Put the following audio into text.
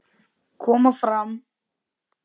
Koma fram!